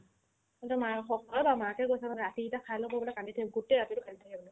ইহতৰ মায়েকক অ মায়েকে কৈছে মানে ৰাতি ইতা খাই ল'ব ক'লে কান্দিছে গোটে ৰাতিটো কান্দি থাকে